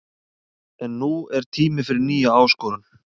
En nú er tími fyrir nýja áskorun.